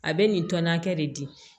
A bɛ nin tɔni hakɛ de di